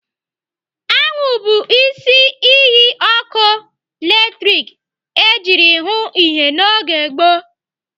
Anwụ bụ isi iyi ọkụ latrik ejiri hụụ ihe n'oge gboo.